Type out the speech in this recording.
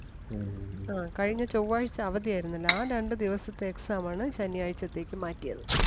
കഴിഞ്ഞ ചൊവ്വാഴ്ച്ച അവധി ആരുന്നല്ലോ ആ രണ്ട് ദിവസത്തെ exam ആണ് ശനിയാഴ്ചത്തേക്ക് മാറ്റിയത്.